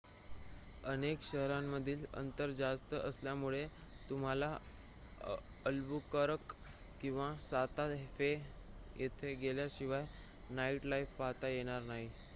अनेक शहरांमधील अंतर जास्त असल्यामुळे तुम्हाला अल्बुकर्क किंवा सांता फे येथे गेल्याशिवाय नाइट लाइफ पाहता येणार नाही